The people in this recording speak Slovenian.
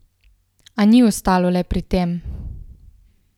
A ni ostalo le pri tem.